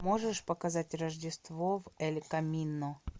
можешь показать рождество в эль камино